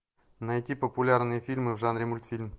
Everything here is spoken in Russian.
найти популярные фильмы в жанре мультфильм